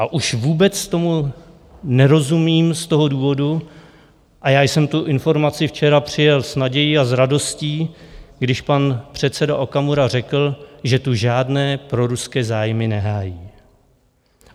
A už vůbec tomu nerozumím z toho důvodu, a já jsem tu informaci včera přijal s nadějí a s radostí, když pan předseda Okamura řekl, že tu žádné proruské zájmy nehájí.